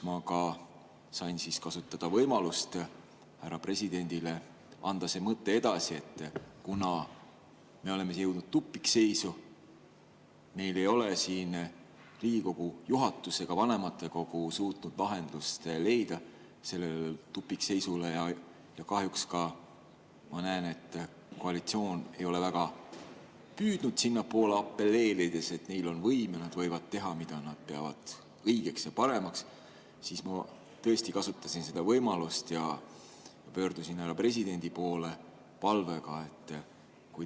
Ma sain seal kasutada võimalust härra presidendile anda edasi palve, et kuna me oleme jõudnud tupikseisu ja meil ei ole ei Riigikogu juhatus ega vanematekogu suutnud lahendust leida sellele tupikseisule ja kahjuks ka mina näen, et koalitsioon ei ole väga püüdnud, apelleerides, et neil on võim ja nad võivad teha, mida nad peavad õigeks ja paremaks, siis kui tal oleks võimalik, ehk ta võtaks oma südameasjaks selle vastasseisu lahendamise.